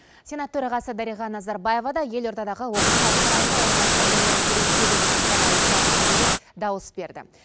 сенат төрағасы дариға назарбаева да елордадағы оқушылар сарайында орналасқан нөмірі елу сегізінші сайлау учаскісінде дауыс берді